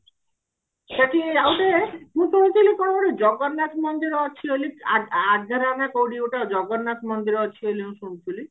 ସେଠି ଆଉଟେ ମୁଁ କହୁଥିଲି କଣ ଗୋଟେ ଜଗନ୍ନାଥ ମନ୍ଦିର ଅଛି ବୋଲି ଆ ଆଗରେ ମାନେ କୋଉଠି ଗୋଟେ ଜଗନ୍ନାଥ ମନ୍ଦିର ଅଛି ବୋଲି ମୁଁ ଶୁଣି ଥିଲି